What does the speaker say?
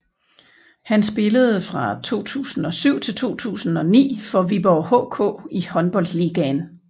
Han spillede fra 2007 til 2009 for Viborg HK i Håndboldligaen